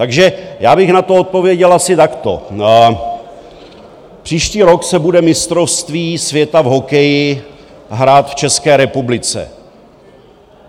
Takže já bych na to odpověděl asi takto: příští rok se bude mistrovství světa v hokeji hrát v České republice.